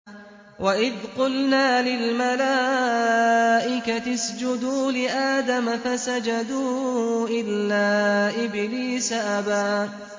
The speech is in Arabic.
وَإِذْ قُلْنَا لِلْمَلَائِكَةِ اسْجُدُوا لِآدَمَ فَسَجَدُوا إِلَّا إِبْلِيسَ أَبَىٰ